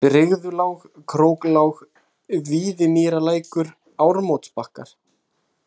Brigðulág, Króklág, Víðimýrarlækur, Ármótsbakkar